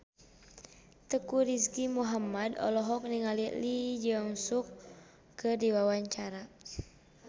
Teuku Rizky Muhammad olohok ningali Lee Jeong Suk keur diwawancara